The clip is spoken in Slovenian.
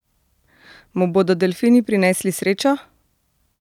Mu bodo delfini prinesli srečo?